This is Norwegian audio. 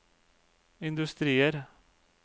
industrier